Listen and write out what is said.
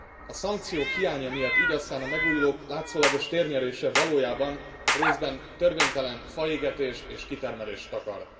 A szankciók hiánya miatt így aztán a megújulók látszólagos térnyerése valójában részben törvénytelen faégetést és kitermelést takar.